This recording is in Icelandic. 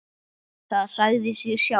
Það sagði sig sjálft.